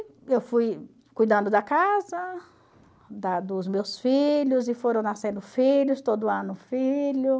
E eu fui cuidando da casa, da dos meus filhos, e foram nascendo filhos, todo ano um filho.